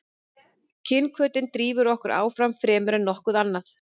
kynhvötin drífur okkur áfram fremur en nokkuð annað